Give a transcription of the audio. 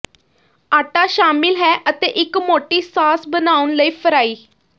ਆਟਾ ਸ਼ਾਮਿਲ ਹੈ ਅਤੇ ਇੱਕ ਮੋਟੀ ਸਾਸ ਬਣਾਉਣ ਲਈ ਫਰਾਈ